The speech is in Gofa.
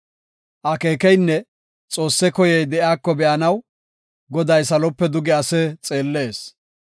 Akeekeynne Xoosse koyey de7iyako be7anaw, Goday salope duge ase xeellees.